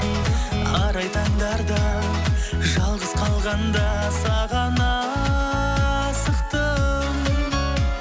арай таңдарда жалғыз қалғанда саған асықтым